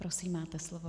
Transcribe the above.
Prosím, máte slovo.